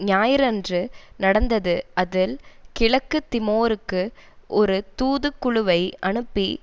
ஞாயிறன்று நடந்தது அதில் கிழக்கு திமோருக்கு ஒரு தூதுக்குழுவை அனுப்பி